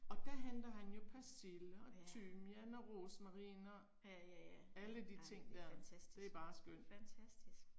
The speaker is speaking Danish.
Og der henter han jo persille og timian og rosmarin og alle de ting der. Det er bare skønt